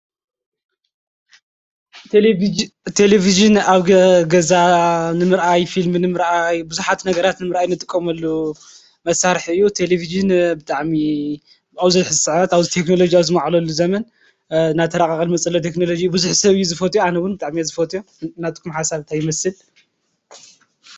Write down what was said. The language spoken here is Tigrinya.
ተሌብዝን ኣብ ገዛ ንምርኣይ ፊልም ንም ረኣይ ብዙኃት ነገራት ንምረአይ ነጥቆመሉ መሣርሕዩ ተሌብሽን ብጥዕሚ ብኣውዘት ሕሣዓ ኣውዝ ቴክንሎጊያዊ ዝመዕለሉ ዘመን ናተራቓቐል መጸሎ ተክንሎጅ ብዙኅ ሰብእዩ ዝፈትዩ ኣነውን ብጣዕሜ ዝፈትዮ እናትኩም ሓሣርት ኣይመስል?